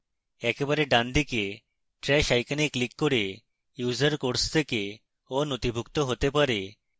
একেবারে ডানদিকে trash icon click করে users course থেকে aনথিভুক্ত হতে পারে